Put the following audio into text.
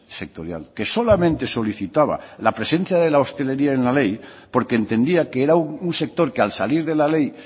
sectorial que solamente solicitaba la presencia de la hostelería en la ley porque entendía que era un sector que al salir de la ley